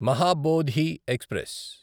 Mahabodhi express